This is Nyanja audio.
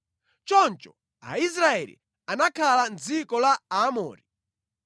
“Choncho Aisraeli anakhala mʼdziko la Aamori.”